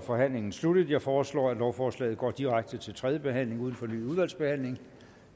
forhandlingen sluttet jeg foreslår at lovforslaget går direkte til tredje behandling uden fornyet udvalgsbehandling